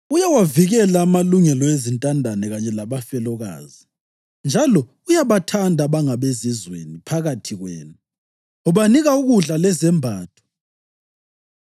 Uyawavikela amalungelo ezintandane kanye labafelokazi, njalo uyabathanda abangabezizweni phakathi kwenu, ubanika ukudla lezembatho.